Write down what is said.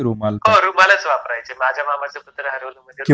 हो रुमालच वापरायचे माझ्या मामाचं पत्र हरवलं